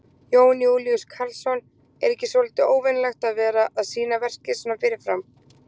Jón Júlíus Karlsson: Er ekki svolítið óvenjulegt að vera að sýna verkið svona fyrirfram?